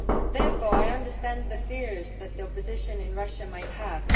Therefore, I understand the fears that the opposition in Russia might have.